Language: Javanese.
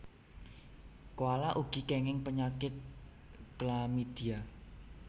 Koala ugi kenging penyakit chlamydia